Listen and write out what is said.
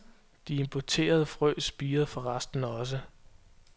De importerede frø spirede forresten også.